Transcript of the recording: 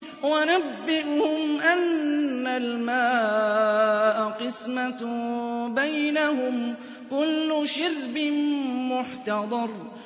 وَنَبِّئْهُمْ أَنَّ الْمَاءَ قِسْمَةٌ بَيْنَهُمْ ۖ كُلُّ شِرْبٍ مُّحْتَضَرٌ